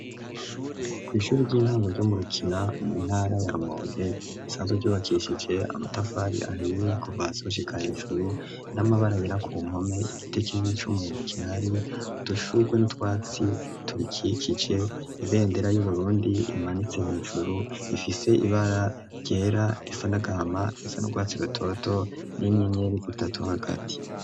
Kw'ishuri ry'intango ryo mu rukina mu ntara ya mauye isanzwe byubakishije amatafari ahiye kuvasushikahejuru n'amabara yira ku nkome gitekini n'icyumuhendo kihari udushugwe n'utwatsi turikikije ibendera y'uburundi imanitse yhejuru ifise ibara ryera risanagama risanurwatsi rutoto n'inyenyeri zitatu hagati.